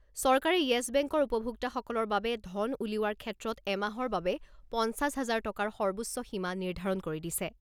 চৰকাৰে য়েছ বেংকৰ উপভোক্তাসকলৰ বাবে ধন উলিওৱাৰ ক্ষেত্ৰত এমাহৰ বাবে পঞ্চাছ হাজাৰ টকাৰ সৰ্বোচ্চ সীমা নিৰ্ধাৰণ কৰি দিছে।